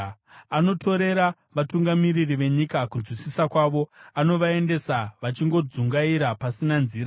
Anotorera vatungamiri venyika kunzwisisa kwavo; anovaendesa vachingodzungaira pasina nzira.